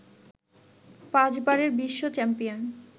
পাঁচবারের বিশ্ব চ্যাম্পিয়ন